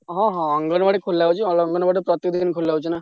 ହଁହଁ ଅଙ୍ଗନବାଡି ଖୋଲା ହଉଛି, ଅଙ୍ଗନବାଡି ପ୍ରତିଦିନ ଖୋଲା ହଉଛି।